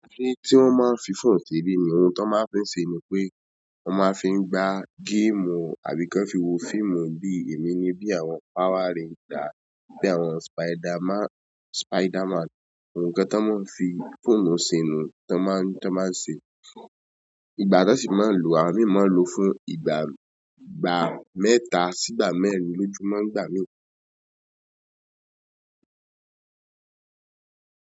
Kiní tí wọ́n máa ń fi fóònù ṣe ni—oun t'ọ́n máa ń fi ṣe ni pé wọ́n máa ń fi gbá géèmù àbí k'ọ́n fi wo fíìmù bí èmi ni bí àwọn Power Rangers, bí àwọn Spiderman, Spiderman. Ǹǹkan t'ọ́n máa ń fi fóònù ṣe niyẹn, t'ọ́n máa ń, t'ọ́n máa n ṣe. Ìgbà t'ọ́n sì máa ń lo, àwọ́n míì máa ń lo fún ìgbà—ìgbà mẹ́ta sí'gbà mẹ́rin lójúmọ́ nígbà míì.